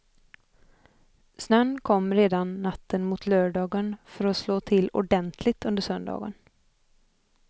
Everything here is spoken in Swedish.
Snön kom redan natten mot lördagen för att slå till ordentligt under söndagen.